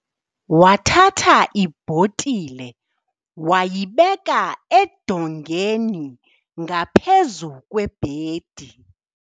wathatha ibhotile wayibeka eludongeni ngaphezu kwebhedi